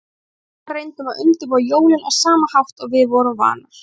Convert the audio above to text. Við mamma reyndum að undirbúa jólin á sama hátt og við vorum vanar.